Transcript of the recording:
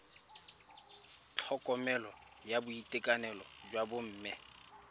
tlhokomelo ya boitekanelo jwa bomme